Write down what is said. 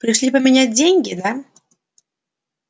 пришли поменять деньги да